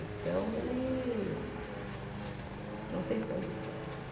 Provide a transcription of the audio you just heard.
Então, ele não tem condições.